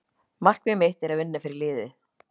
Markmið mitt er að vinna fyrir liðið.